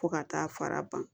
Fo ka taa fara ban